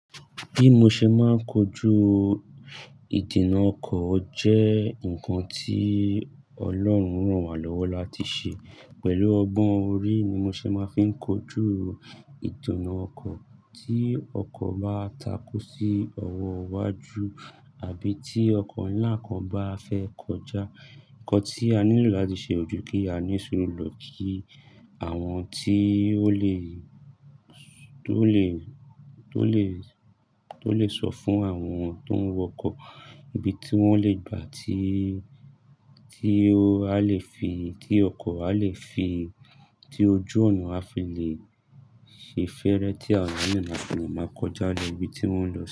Bí mo ṣe máa ń kojú ìdènà ọkọ̀ jẹ́ ǹkan tí Ọlọ́run rán wa lọ́wọ́ láti ṣe. Pẹ̀lú ọgbọ́n orí ni mo ṣe máa ń fi kojú ìdènà ọkọ̀, tí ọkọ̀ bá takú sí ọwọ́ iwájú àbí tí ọkọ̀ ńlá kan bá fẹ́ kọjá. Ǹkan tí a nílò láti ṣe ojú kí a ní suuru lọ kí àwọn tí ó lè, tó lè, tó lè, tó lè sọ fún àwọn tó ń wọkọ̀ ibi tí wọ́n le gbà tí, tí a lè fi, tí ọkọ̀ a lè fi, tí ojú ọ̀nà a fi lè ṣe fẹ́rẹ́ tí a ò nílò nà án fún un máa kọjá lọ ibi tí wọ́n ń lọ.